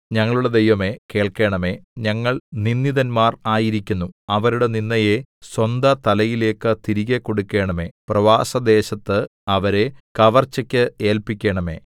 ഞങ്ങളുടെ ദൈവമേ കേൾക്കേണമേ ഞങ്ങൾ നിന്ദിതന്മാർ ആയിരിക്കുന്നു അവരുടെ നിന്ദയെ സ്വന്തതലയിലേയ്ക്ക് തിരികെ കൊടുക്കണമേ പ്രവാസദേശത്ത് അവരെ കവർച്ചയ്ക്ക് ഏല്പിക്കേണമേ